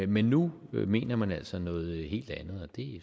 men nu mener man altså noget helt andet